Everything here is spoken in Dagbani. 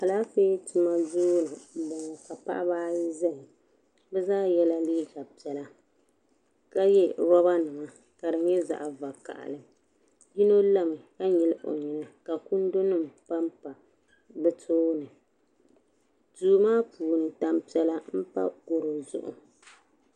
Alaafee tuma duu m-bɔŋɔ ka paɣiba ayi zaya bɛ zaa yela liiga piɛla ka ye robanima ka di nyɛ zaɣ'vakahili yino lami ka nyili o nyina ka kundunima pampa bɛ tooni duu maa puuni tampiɛla m-pa garo zuɣu.